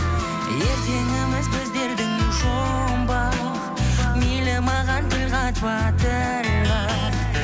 ертеңіміз біздердің жұмбақ мейлі маған тіл қатпа тіл қат